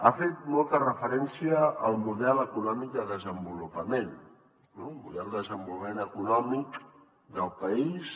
ha fet molta referència al model econòmic de desenvolupament un model de desenvolupament econòmic del país